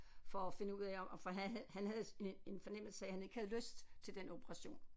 For at finde ud af om for han havde han havde en en fornemmelse af han ikke havde lyst til den operation